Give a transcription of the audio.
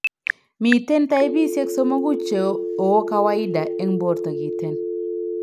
Miten taipisiek somoku cheo kawaida eng' borto kiten